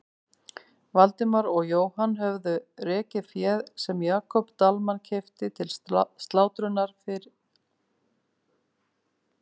Valdimar og Jóhann höfðu rekið féð sem Jakob Dalmann keypti til slátrunar yfir heiðina.